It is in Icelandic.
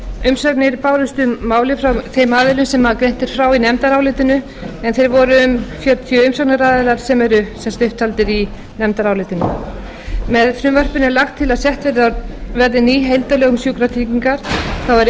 umsagnir bárust um málið frá þeim aðilum sem greint er frá í nefndarálitinu en þeir voru um fjörutíu umsagnaraðilar sem eru upptaldir í nefndarálitinu með frumvarpinu er lagt til að sett verði ný heildarlög um sjúkratryggingar þá er